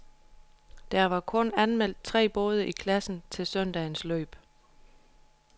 Der var kun anmeldt tre både i klassen til søndagens løb.